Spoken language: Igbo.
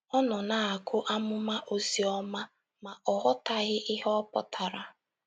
Ọ nọ na - agụ amụma Ozioma, ma, ọ ghọtaghị ihe ọ pụtara.